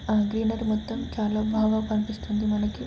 ఆ గ్రీనరీ మొత్తం చాలా బాగా కనిపిస్తుంది మనకి--